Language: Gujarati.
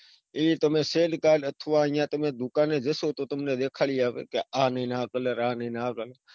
એ તમે shadecard અથવા તમે દુકાને જશો તો તમને દેખાડી આપે આ નાઈ ને આ colour આ નાઈ ન આ colour